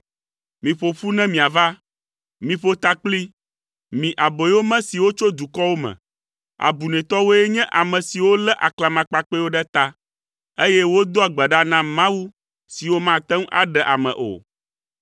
“Miƒo ƒu ne miava. Miƒo takpli, mi aboyome siwo tso dukɔwo me. Abunɛtɔwoe nye ame siwo lé aklamakpakpɛwo ɖe ta, eye wodoa gbe ɖa na mawu siwo mate ŋu aɖe ame o.